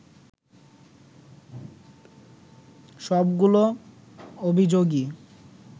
সবগুলো অভিযোগই